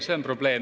See on probleem.